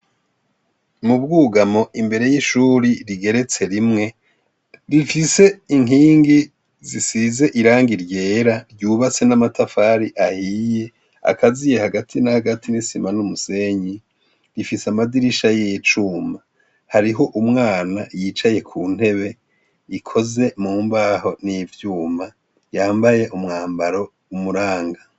Mubwugamo imbere y'ishuri rigeretse rimwe rifise inkingi zisize irangi ryera ryubatse n'amatafari ahiye akaziye hagati n'agati n'isima n'umusenyi rifise amadirisha y'icuma hariho umwana yicaye ku ntebe ikoze mu mbaho n'ivyuma yambaye umwambaro umuranga.